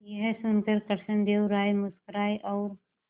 यह सुनकर कृष्णदेव राय मुस्कुराए और